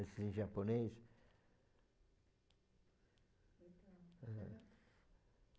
Assim, em japonês.